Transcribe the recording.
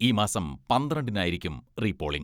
ഈ മാസം പന്ത്രണ്ടിനായിരിക്കും റീപോളിങ്ങ്.